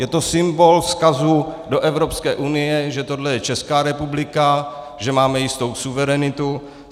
Je to symbol vzkazu do Evropské unie, že tohle je Česká republika, že máme jistou suverenitu.